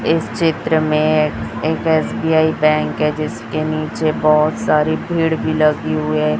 इस चित्र में एक एस_बी_आई बैंक के जिसके नीचे बहोत सारी भीड़ भी लगी हुई है।